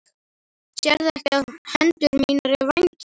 Sérðu ekki að hendur mínar eru vængir? sagði hún.